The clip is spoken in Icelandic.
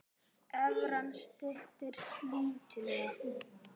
Evran styrkist lítillega